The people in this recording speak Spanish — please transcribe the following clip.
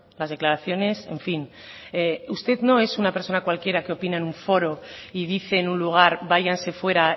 las declaraciones en fin usted no es una persona cualquiera que opina en un foro y dice en un lugar váyanse fuera